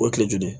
O ye kile joli